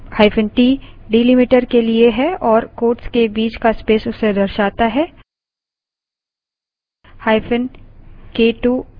यहाँ –t delimiter के लिए है और quotes के बीच का space उसे दर्शाता है